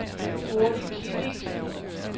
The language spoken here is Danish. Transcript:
Gurli Kilic